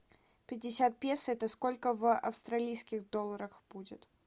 пятьдесят песо это сколько в австралийских долларах будет